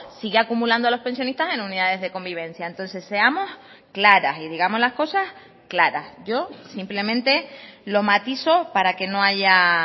sigue acumulando a los pensionistas en unidades de convivencia entonces seamos claras y digamos las cosas claras yo simplemente lo matizo para que no haya